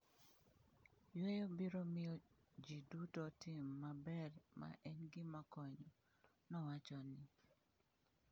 """Yueyo biro miyo ji duto otim maber ma en gima konyo,"" nowacho ni."